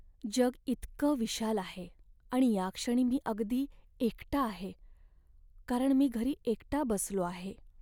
जग इतकं विशाल आहे आणि याक्षणी मी अगदी एकटा आहे कारण मी घरी एकटा बसलो आहे.